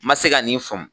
N ma se ka nin faamu